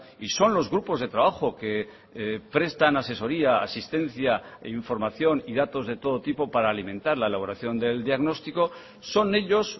y son los grupos de trabajo que prestan asesoría asistencia e información y datos de todo tipo para alimentar la elaboración del diagnóstico son ellos